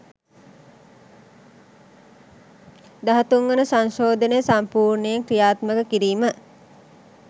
දහතුන් වන සංශෝධනය සම්පූර්ණයෙන් ක්‍රියාත්මක කිරීම